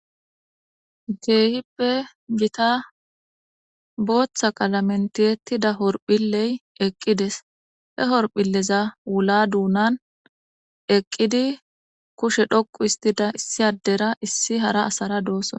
Geehippe gita booththa qalamentiyettida horphiley eqqides he horphileza wula duunan eqqidi kushe dhoqu istida issi addera issi hara asara dooson.